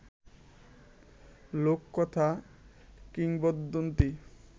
লোককথা, কিংবদন্তি